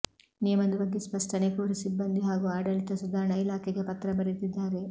ನಿಯಮದ ಬಗ್ಗೆ ಸ್ಪಷ್ಟನೆ ಕೋರಿ ಸಿಬ್ಬಂದಿ ಹಾಗೂ ಆಡಳಿತ ಸುಧಾರಣಾ ಇಲಾಖೆಗೆ ಪತ್ರ ಬರೆದಿದ್ದಾರೆ